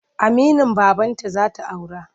Aminin babanta za ta aura.